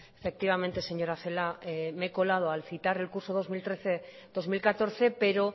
efectivamente señora celaá me he colado al citar recurso dos mil trece dos mil catorce pero